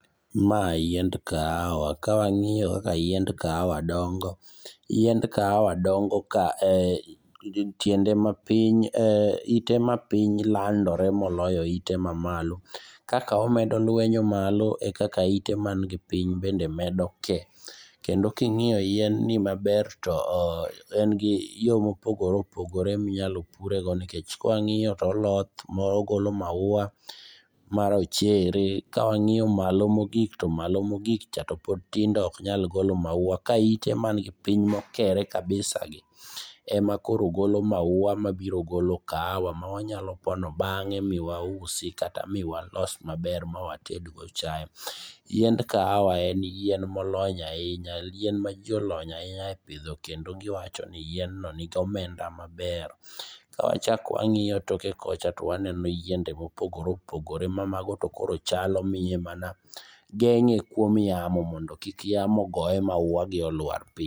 Ma yiend kahawa kawang'iyo kaka yiend kahawa dongo, yiend kahawa dongo ka tiende mapiny ite mapiny landore moloyo ite mamalo kaka omedo lwenyo malo ekaka ite man gi piny bende medo ke. Kendo ka ing'iyo yien ni maber to en gi yo mopogore opogore minyalo purego nikech ka wang'iyo to oloth ma ogolo mauwa marochere kawang'iyo malo mogik to malo mogik cha to pod tindo maok nyal golo mauwa. Kaite man gi piny mokere kabisagi ema koro golo mauwa mabiro golo kahawa mawanyalo pono bang'e miwauysi kata miwalos maber miwatedgo chae. Yiend kahawa en yien molony ahinya yien maji olony ahinya e pidho kendo giwacho ni yien no nigi omenda maber. Ka wachako wang'iyo toke kocha to waneno yiende mopogore opogore ma mago to koro chalo miye mana geng'e kuom yamo mondo kik yamo goye mauwagi oluar piny.